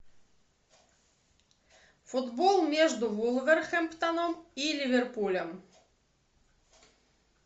футбол между вулверхэмптоном и ливерпулем